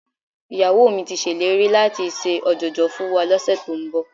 Ìyàwó mi ti ṣèlérí láti ṣe ọ̀jọ̀jọ̀ fún wa lọ́sẹ̀ tó ń bọ̀